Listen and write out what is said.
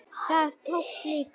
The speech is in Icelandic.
Það tókst líka.